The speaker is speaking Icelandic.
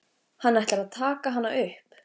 Hann ætlar að taka hana upp.